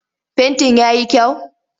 Fentin ya yi kyau?